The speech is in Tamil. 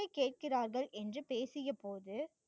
கேட்கிறார்கள் என்று பேசிய போது